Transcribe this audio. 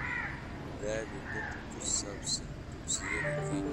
raadi dood ku saabsan dugsiyada Kenya